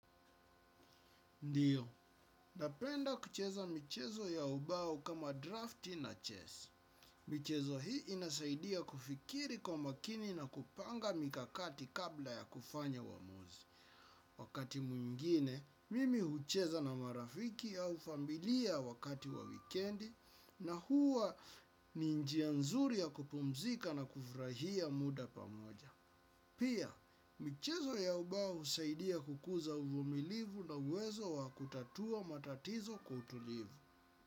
Ndiyo, napenda kucheza michezo ya ubao kama drafti na chess. Michezo hii inasaidia kufikiri kwa umakini na kupanga mikakati kabla ya kufanya uamuzi. Wakati mwingine, mimi hucheza na marafiki au familia wakati wa wikendi na huwa ni njia nzuri ya kupumzika na kufurahia muda pamoja. Pia, michezo ya ubao husaidia kukuza uvumilivu na uwezo wa kutatua matatizo kwa utulivu.